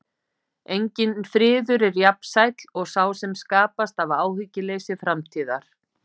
Enginn friður er jafn sæll og sá sem skapast af áhyggjuleysi framtíðar.